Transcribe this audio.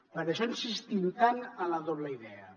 per això insistim tant en la doble idea